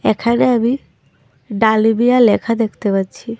এখানে আমি ডালমিয়া লেখা দেখতে পাচ্ছি।